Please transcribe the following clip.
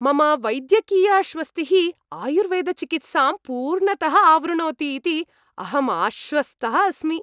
मम वैद्यकीयाश्वस्तिः आयुर्वेदचिकित्सां पूर्णतः आवृणोति इति अहम् आश्वस्तः अस्मि।